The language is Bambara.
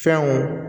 Fɛnw